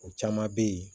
O caman bɛ yen